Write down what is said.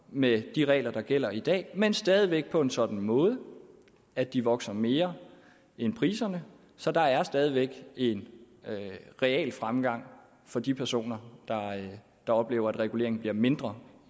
med de regler der gælder i dag men stadig væk på en sådan måde at de vokser mere end priserne så der er stadig væk en realfremgang for de personer der oplever at reguleringen bliver mindre